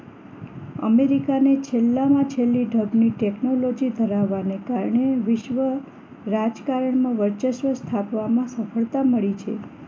અમેરિકાને છેલ્લામાં છેલ્લી ઢબની ટેકનોલોજી ધરાવવાને કારણે વિશ્વ રાજકારણમાં વર્ચસ્વ સ્થાપવામાં સફળતા મળી છે